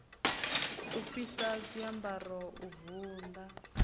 u fhisa zwiambaro u vunḓa